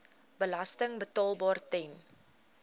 belasting betaalbaar ten